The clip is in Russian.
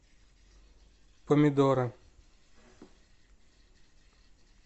помидоры